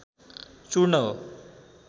चूर्ण हो।